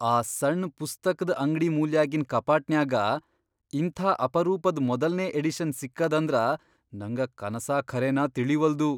ಆ ಸಣ್ ಪುಸ್ತಕ್ದ್ ಅಂಗ್ಡಿ ಮೂಲ್ಯಾಗಿನ್ ಕಪಾಟನ್ಯಾಗ ಇಂಥಾ ಅಪರೂಪದ್ ಮೊದಲ್ನೇ ಎಡಿಷನ್ ಸಿಕ್ಕದಂದ್ರ ನಂಗ ಕನಸಾ ಖರೇನಾ ತಿಳೀವಲ್ದು.